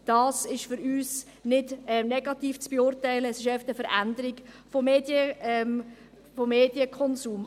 Dies ist für uns nicht negativ zu beurteilen, es ist einfach eine Veränderung des Medienkonsums.